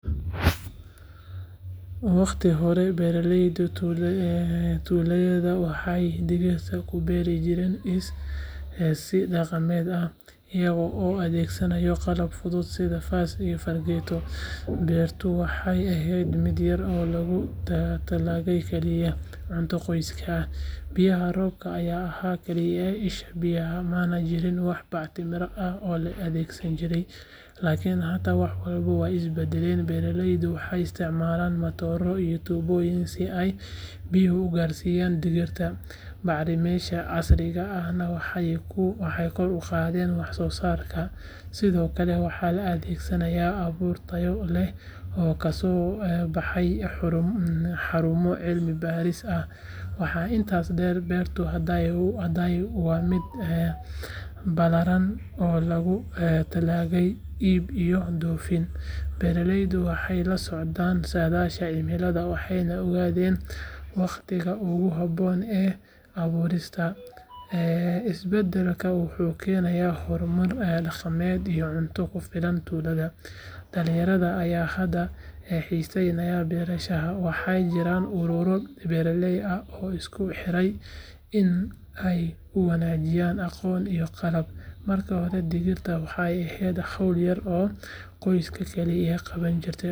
Waqtiyadii hore, beeralayda tuuladayada waxay digirta ku beeri jireen si dhaqameed ah, iyaga oo adeegsanaya qalab fudud sida faas iyo fargeeto, beertuna waxay ahayd mid yar oo loogu talagalay kaliya cunto qoyska ah. Biyaha roobka ayaa ahaa kaliya isha biyaha, mana jirin wax bacriminta ah oo la adeegsan jiray. Laakiin hadda, wax walba way is beddeleen. Beeralaydu waxay isticmaalaan matooro iyo tuubooyin si ay biyaha u gaarsiiyaan digirta, bacrimiyeyaasha casriga ahna waxay kor u qaadeen wax-soosaarka. Sidoo kale, waxaa la adeegsadaa abuur tayo sare leh oo kasoo baxay xarumo cilmi-baaris ah. Waxaa intaa dheer, beertu hadda waa mid ballaaran oo loogu talagalay iib iyo dhoofin. Beeralayda waxay la socdaan saadaasha cimilada, waxayna ogaadeen waqtiga ugu habboon ee abuurista. Isbeddelkan wuxuu keenay horumar dhaqaale iyo cunto ku filan tuulada. Dhalinyarada ayaa hadda xiisaynaya beerashada, waxaana jira ururo beeraley ah oo isku xiran si ay u wadaagaan aqoon iyo qalab. Markii hore digirta waxay ahayd hawl yar oo qoyska keliya qaban jireen, laakiin.